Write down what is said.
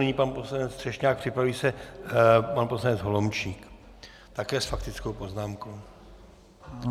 Nyní pan poslanec Třešňák, připraví se pan poslanec Holomčík, také s faktickou poznámkou.